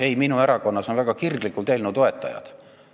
Ei, minu erakonnas on väga kirglikke eelnõu toetajaid.